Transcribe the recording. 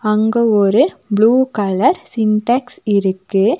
அங்க ஒரு blue colour Sintex இருக்கு.